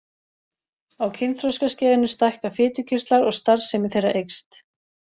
Á kynþroskaskeiðinu stækka fitukirtlar og starfsemi þeirra eykst.